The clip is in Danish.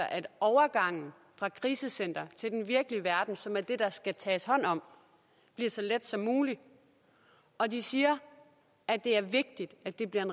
at overgangen fra krisecenteret til den virkelige verden som er det der skal tages hånd om bliver så let som muligt og de siger at det er vigtigt at det bliver en